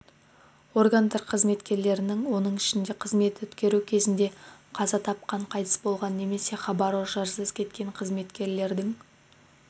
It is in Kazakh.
органдар қызметкерлерінің оның ішінде қызмет өткеру кезінде қаза тапқан қайтыс болған немесе хабар-ошарсыз кеткен қызметкерлердің